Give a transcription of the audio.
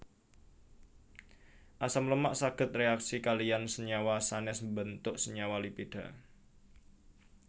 Asam lemak saged réaksi kaliyan senyawa sanès mbentuk senyawa lipida